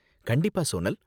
கண்டிப்பா சோனல்.